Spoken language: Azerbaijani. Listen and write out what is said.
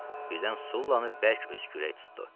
Birdən Sullanı bərk öskürək tutdu.